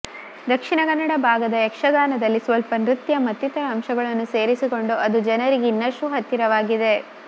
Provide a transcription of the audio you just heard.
ದಕ್ಷಿಣ ಕನ್ನಡ ಭಾಗದ ಯಕ್ಷಗಾನದಲ್ಲಿ ಸ್ವಲ್ಪ ನೃತ್ಯ ಮತ್ತಿತರ ಅಂಶಗಳನ್ನು ಸೇರಿಸಿಕೊಂಡು ಅದು ಜನರಿಗೆ ಇನ್ನಷ್ಟು ಹತ್ತಿರವಾಗಿದೆ